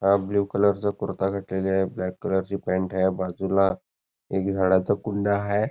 हा blue colour च कुर्ता घातलेली आहे ब्लॅक कलर ची पँट आहे बाजूला एक झाडाच कुंडा आहे.